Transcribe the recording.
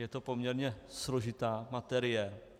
Je to poměrně složitá materie.